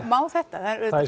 má þetta